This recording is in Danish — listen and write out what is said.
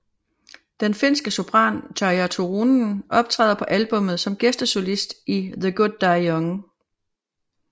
Den finske sopran Tarja Turunen optræder på albummet som gæstesolist i The Good Die Young